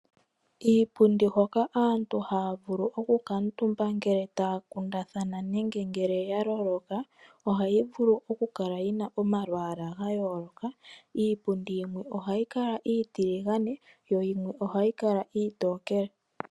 Iipundi hoka aantu taya vulu oku kuutumba uuna taya kundathana nenge ya loloka ohayi vulu oku kala yina omalwalwa ga yooloka. Iipundi yimwe ohayi kala iitiligane yimwe iitokele.